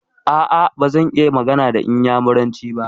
A'a, bazan iya magana da inyamuranci ba.